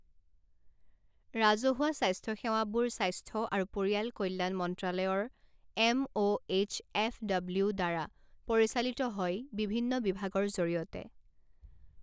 ৰাজহুৱা স্বাস্থ্য সেৱাবোৰ স্বাস্থ্য আৰু পৰিয়াল কল্যাণ মন্ত্ৰালয়ৰ M O H F W দ্বাৰা পৰিচালিত হয় বিভিন্ন বিভাগৰ জৰিয়তে।